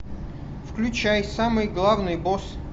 включай самый главный босс